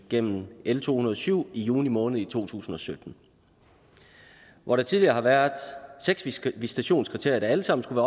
igennem l to hundrede og syv i juni måned to tusind og sytten hvor der tidligere har været seks visitationskriterier der alle sammen skulle